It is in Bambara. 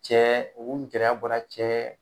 Cɛ u gɛrɛya bɔra cɛ